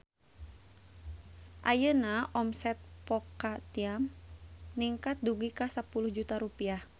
Ayeuna omset Po Ka Tiam ningkat dugi ka 10 juta rupiah